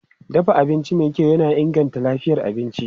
Dafa abinci mai kyau yana inganta lafiyar abinci.